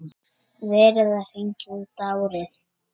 Verið að hringja út árið.